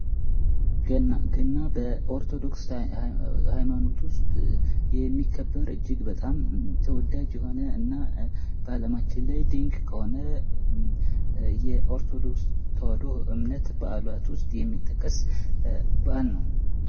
ገና ገና በኦርቶዶክስ ሃይማኖት ውስጥ የሚከበር እጅግ በጣም ተወዳጅ የሆነ እና በአለማችን ላይ ድንቅ ከሆነ የኦርቶዶክስ ተዋህዶ እምነት በአዓላት ውስጥ የሚጠቀስ በዓል ነው።